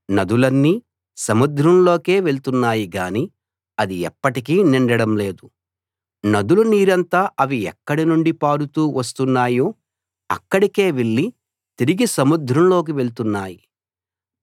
నదులన్నీ సముద్రంలోకే వెళ్తున్నాయి గానీ అది ఎప్పటికీ నిండడం లేదు నదుల నీరంతా అవి ఎక్కడనుండి పారుతూ వస్తున్నాయో అక్కడికే వెళ్లి తిరిగి సముద్రంలోకి వెళ్తున్నాయి